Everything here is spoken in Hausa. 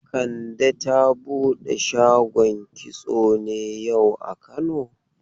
Kande ta bude shagon kitso ne yau a kano?